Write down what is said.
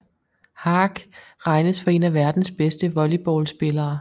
Haak regnes for en af verdens bedste volleyballspillere